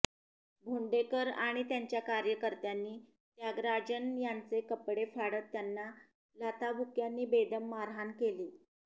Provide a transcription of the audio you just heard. भोंडेकर आणि त्यांच्या कार्यकर्त्यांनी त्यागराजन यांचे कपडे फाडत त्यांना लाथाबुक्क्य़ांनी बेदम मारहाण केली